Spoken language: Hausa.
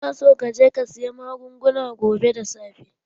Ina so ka je ka saya magungunan gobe da safe!